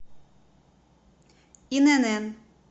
инн